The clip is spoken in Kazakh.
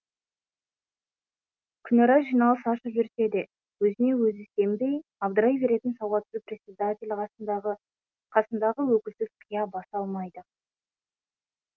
күнара жиналыс ашып жүрсе де өзіне өзі сенбей абдырай беретін сауатсыз председатель қасындағы өкілсіз қия баса алмайды